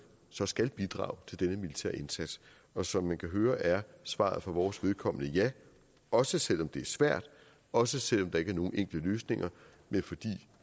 så skal bidrage til denne militære indsats og som man kan høre er svaret for vores vedkommende ja også selv om det er svært også selv om der ikke er nogen enkle løsninger men fordi